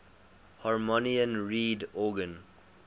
harmonium reed organ